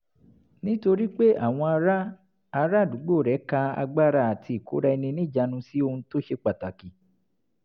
nítorí pé àwọn ará ará àdúgbò rẹ̀ ka agbára àti ìkóra-ẹni-níjàánu sí ohun tó ṣe pàtàkì